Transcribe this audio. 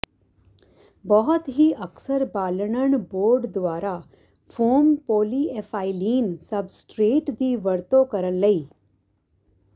ਬਹੁਤ ਹੀ ਅਕਸਰ ਬਾਲਣਣ ਬੋਰਡ ਦੁਆਰਾ ਫ਼ੋਮ ਪੋਲੀਐਫਾਈਲੀਨ ਸਬਸਟਰੇਟ ਦੀ ਵਰਤੋਂ ਕਰਨ ਲਈ